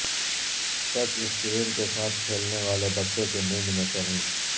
touch screen کے ساتھ کھیلنے والے بچوں کی نیند میں کمی